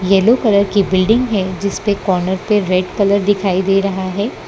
Yellow colour की building है जिस पे कॉर्नर पे रेड कलर दिखाई दे रहा है।